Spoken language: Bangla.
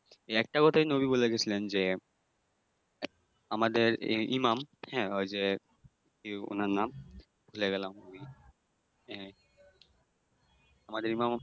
একটা কথাই নবী বইলা গেছিলেন যে, আমাদের ইমাম হ্যাঁ ওই যে, কি উনার নাম? ভুইলা গেলাম। ওই আহ আমাদের ইমাম